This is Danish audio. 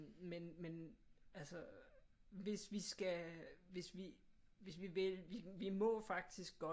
Men men altså hvis vi skal hvis vi hvis vi vælger vi må faktisk godt